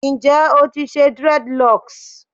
Njẹ o ti ṣe dreadlocks?